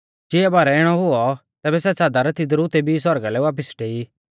चिआ बारै इणौ हुऔ तैबै सै च़ादर तिदरु तेबी सौरगा भिलै वापिस डेई